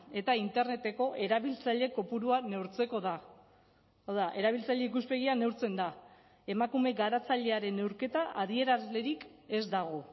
eta interneteko erabiltzaile kopurua neurtzeko da hau da erabiltzaile ikuspegia neurtzen da emakume garatzailearen neurketa adierazlerik ez dago